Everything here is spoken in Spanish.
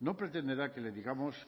no pretenderá que le digamos